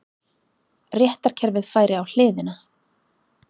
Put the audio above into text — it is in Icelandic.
Réttarkerfið færi á hliðina